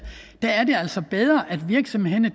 der er det altså bedre at virksomhederne